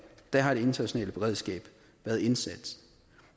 der har det internationale beredskab været indsat